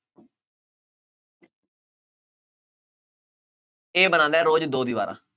A ਬਣਾਉਂਦਾ ਰੋਜ਼ ਦੋ ਦੀ ਬਾਰਾਂ